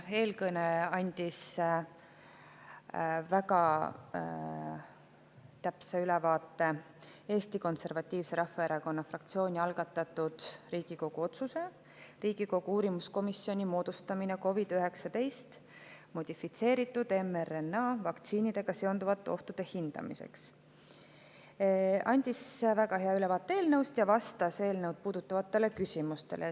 Eelkõneleja andis väga täpse ülevaate Eesti Konservatiivse Rahvaerakonna fraktsiooni algatatud Riigikogu otsuse "Riigikogu uurimiskomisjoni moodustamine COVID-19 modifitseeritud mRNA vaktsiinidega seonduvate ohtude hindamiseks" eelnõust ja vastas eelnõu puudutavatele küsimustele.